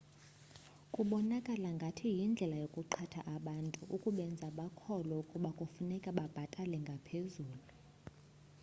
kubonakala ngathi yindlela yokuqhatha abantu ukubenza bakholwe ukuba kufuneka babhatale ngaphezulu